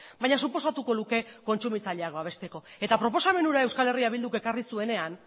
baina suposatuko luke kontsumitzaileak babesteko eta proposamen ura euskal herria bilduk ekarri zuenean